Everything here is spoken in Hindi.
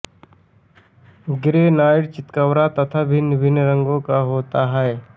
ग्रैनाइट चितकबरा तथा भिन्न भिन्न रंगों का होता है